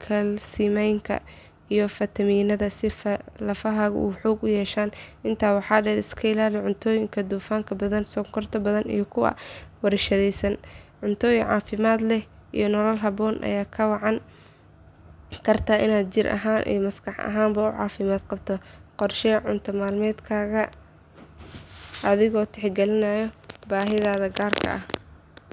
kalsiyamka iyo faytamiinada si lafahaagu u xoog yeeshaan. Intaa waxaa dheer, iska ilaali cuntooyinka dufanka badan, sonkorta badan iyo kuwa la warshadeeyay. Cunto caafimaad leh iyo nolol habboon ayaa kaa caawin karta inaad jir ahaan iyo maskax ahaanba u caafimaad qabto. Qorshee cunto maalmeedkaaga adigoo tixgelinaya baahidaada gaarka ah.